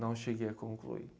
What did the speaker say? Não cheguei a concluir.